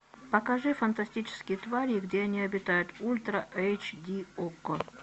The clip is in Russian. покажи фантастические твари и где они обитают ультра эйч ди окко